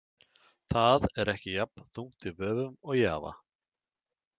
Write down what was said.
Það er ekki jafn þungt í vöfum og Java.